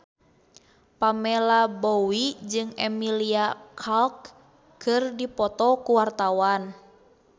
Pamela Bowie jeung Emilia Clarke keur dipoto ku wartawan